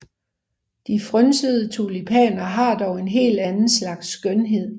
De frynsede tulipaner har dog en helt anden slags skønhed